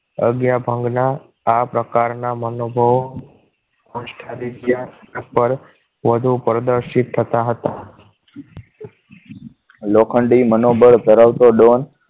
અગિયાર ભંગના આ પ્રકારના મહાનુભાવો અસ્થાને જ્ઞાન પર વધુ દર્શિત થતા હતા લોખંડી મનોબળ ધરાવતો Don